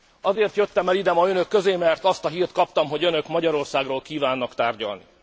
Azért jöttem el ma ide, önök közé, mert azt a hírt kaptam, hogy önök Magyarországról kívánnak tárgyalni.